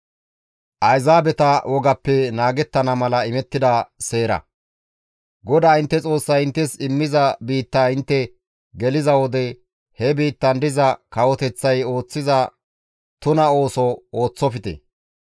GODAA intte Xoossay inttes immiza biittaa intte geliza wode he biittan diza kawoteththay ooththiza tuna ooso ooththofte.